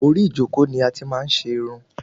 Orí ijoko ni ati máa n ṣe Irun